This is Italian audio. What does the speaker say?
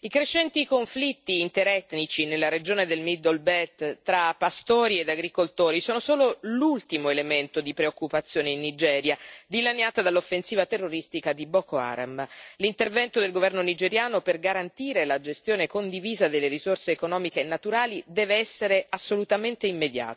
i crescenti conflitti interetnici nella regione della middle belt tra pastori e agricoltori sono solo l'ultimo elemento di preoccupazione in Nigeria, dilaniata dall'offensiva terroristica di Boko Haram. L'intervento del governo nigeriano per garantire la gestione condivisa delle risorse economiche e naturali deve essere assolutamente immediato.